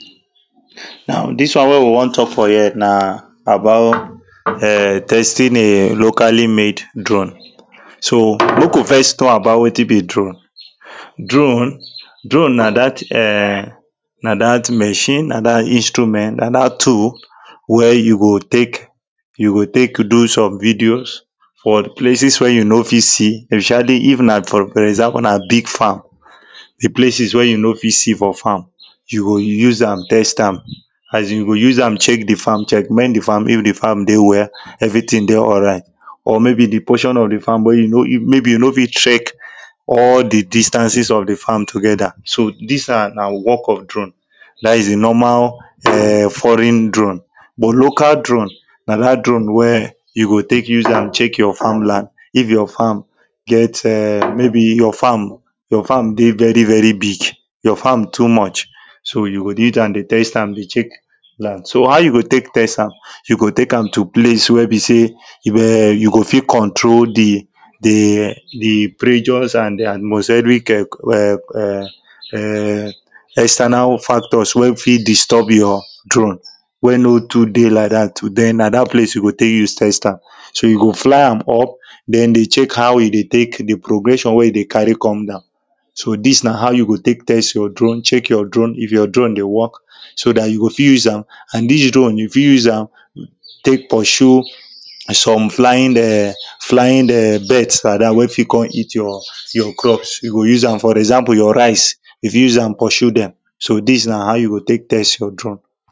now this one wey we wan talk for here na about um testing a locally made drone so make we first talk about wetin be drone drone drone na that um na that machine na that instrument na that tool wey you go take you go take do some videos for places wey you no fit see especially if na for example na big farm the places wey you no fit see for farm you go use am test am as in you go use am check the farm checkmate the farm if the farm dey well everything dey alright or maybe the portion of the farm wey you no e maybe you no fit check all the distances of the farm together so this one na work of drone that is the normal um foreign drone but local drone na that drone wey you go take use am check your farmland if your farm get um maybe your farm your farm dey very very big your farm too much so you go dey use am dey test am dey check land so how you go take test am you go take am to place wey be say e um you go fit control the the the pressures and the atmoseric um um um um external factors wey fit disturb your drone wey no too dey like that too na that place you go take use test am so you go fly am up then dey check how e dey take the progression wey e dey carry come dow so this na how you go take test your drone check your drone if your drone wey work so that you go fit use am and this drone you fit use am take pursue some flying um flying um birds like that wey fit come eat your your crops you go use am for example your rice you fit use am pursue them so this na how you go take test your drone